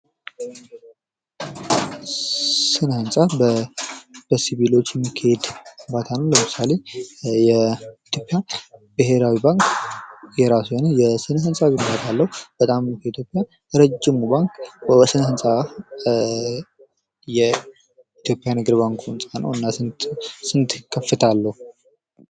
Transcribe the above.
ስለ ህንጻ በሲቪል የሚካሄድ ግንባታ ነው ለምሳሌ የኢትዮጵያን ብሔራዊ ባንክ የራሱ የሆነ የስነ ህንፃ ግንባታ አለው በጣም በኢትዮጵያ ረጅሙ ባንክ በስነ ህንፃ አንፃር ስንት ከፍታለሁ አለው?